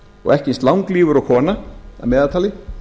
og ekki eins langlífur og konan að meðaltali